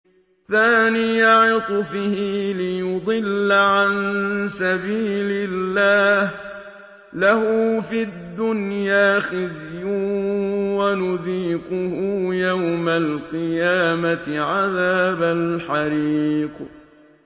ثَانِيَ عِطْفِهِ لِيُضِلَّ عَن سَبِيلِ اللَّهِ ۖ لَهُ فِي الدُّنْيَا خِزْيٌ ۖ وَنُذِيقُهُ يَوْمَ الْقِيَامَةِ عَذَابَ الْحَرِيقِ